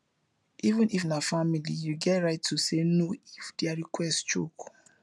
even if na family you get right to say no if their request choke